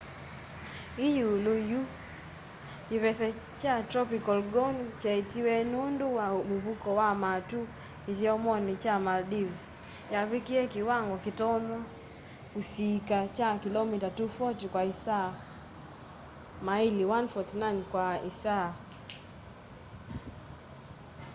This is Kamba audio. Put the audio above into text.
yi iulu yu kivese kya tropical gonu kyeetiwe nundu wa muvuko wa matu kithyomoni kya maldives yavikie kiwango kitonya kusiika kya kilomita 240 kwa isaa maili 149 kwa isaa